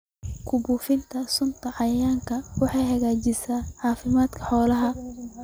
Ku buufinta sunta cayayaanka ah waxay hagaajisaa caafimaadka xoolaha.